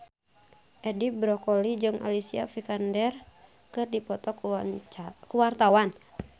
Edi Brokoli jeung Alicia Vikander keur dipoto ku wartawan